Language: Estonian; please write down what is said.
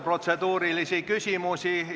Protseduurilisi küsimusi tuleb muudkui juurde.